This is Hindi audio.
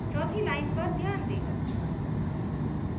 चौथी line पर ध्यान दें